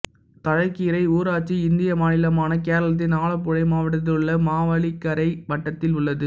தழைக்கரை ஊராட்சி இந்திய மாநிலமான கேரளத்தின் ஆலப்புழை மாவட்டத்திலுள்ள மாவேலிக்கரை வட்டத்தில் உள்ளது